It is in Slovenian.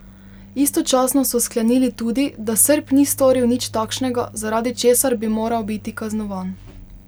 Istočasno so sklenili tudi, da Srb ni storil nič takšnega, zaradi česar bi moral biti kaznovan.